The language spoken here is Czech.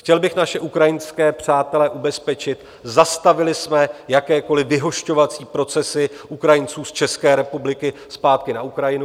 Chtěl bych naše ukrajinské přátele ubezpečit: zastavili jsme jakékoliv vyhošťovací procesy Ukrajinců z České republiky zpátky na Ukrajinu.